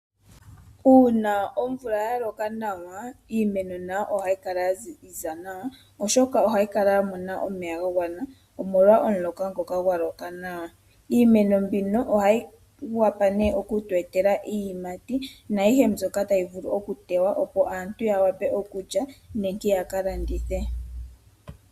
Uuna omvula yaloka nawa, iimeno nayo ohayi kala yaziza nawa, oshoka ohayi kala yamona omeya gagwana nawa, omolwa omuloka ngoka. Iimeno mbino ohayi tu etele iiyimati naayihe mbyoka tayi vulu okuteywa, opo aantu yalye nenge yaka landithe.